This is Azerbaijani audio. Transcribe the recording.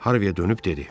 Harviyə dönüb dedi.